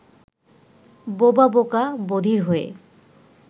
বোবা বোকা বধির হয়ে